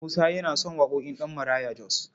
Musa yana son waƙoƙin Ɗabmaraya Jos.